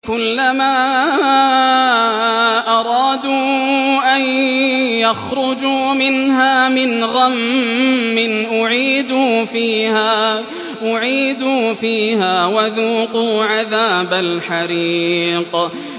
كُلَّمَا أَرَادُوا أَن يَخْرُجُوا مِنْهَا مِنْ غَمٍّ أُعِيدُوا فِيهَا وَذُوقُوا عَذَابَ الْحَرِيقِ